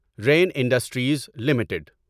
rain Industries limited